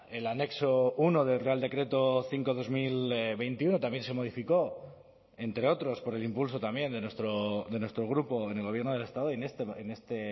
el anexo uno del real decreto cinco barra dos mil veintiuno también se modificó entre otros por el impulso también de nuestro grupo en el gobierno del estado en este